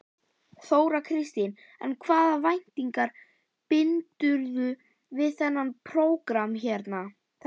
Þóra Kristín: En hvaða væntingar bindurðu við þetta prógramm hérna?